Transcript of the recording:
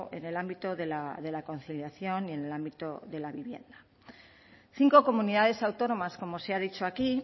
en el ámbito de la conciliación y en el ámbito de la vivienda cinco comunidades autónomas como se ha dicho aquí